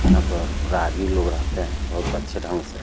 यहाँ पर और राहगीर लोग रहते हे बोहोत अच्छे ढंग से --